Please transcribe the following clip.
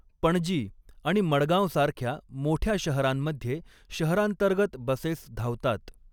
पणजी आणि मडगांवसारख्या मोठ्या शहरांमध्ये शहरांतर्गत बसेस धावतात.